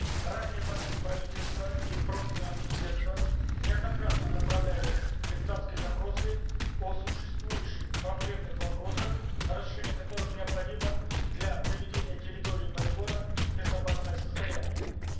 ранее в адрес правительства и профильного министерства неоднократно направлялись депутатские запросы о существующих проблемных вопросах разрешение которых необходимо для приведения территории полигона в безопасное состояние